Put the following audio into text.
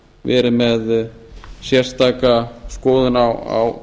verið með sérstaka skoðun á